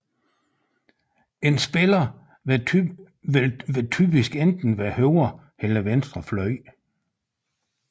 En spiller vil typisk enten være højre eller venstre fløj